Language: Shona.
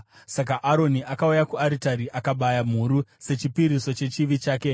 Saka Aroni akauya kuaritari akabaya mhuru sechipiriso chechivi chake.